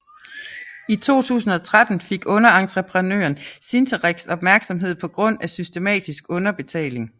I 2013 fik underentreprenøren Cinterex opmærksomhed på grund af systematisk underbetaling